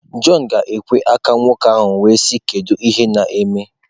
John ga ekwe aka nwoke ahụ wee sị" kedu ihe neme?